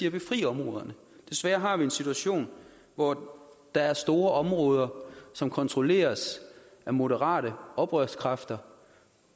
at befri områderne desværre har vi en situation hvor der er store områder som kontrolleres af moderate oprørskræfter